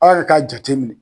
A' yɛrɛ k'a jate minɛ.